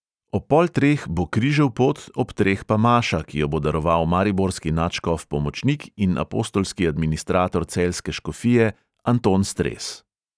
Ob pol treh bo križev pot, ob treh pa maša, ki jo bo daroval mariborski nadškof pomočnik in apostolski administrator celjske škofije anton stres.